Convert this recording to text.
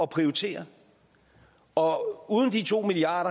prioritere og uden de to milliard